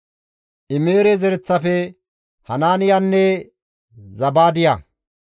Imere zereththafe, Hanaaniyanne Zabaadiya,